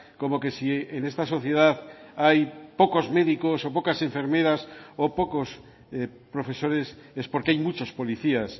como que si en esta sociedad hay pocos médicos o pocas enfermeras o pocos profesores es porque hay muchas policías